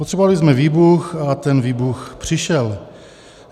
Potřebovali jsme výbuch, a ten výbuch přišel.